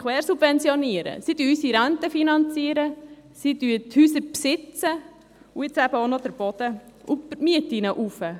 Sie finanzieren unsere Renten, sie besitzen unsere Häuser und nun eben auch noch den Boden.